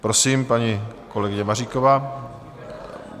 Prosím, paní kolegyně Maříková.